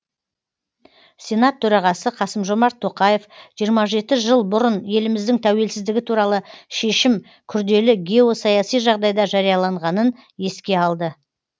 сенат төрағасы қасым жомарт тоқаев жиырма жеті жыл бұрын еліміздің тәуелсіздігі туралы шешім күрделі геосаяси жағдайда жарияланғанын еске алды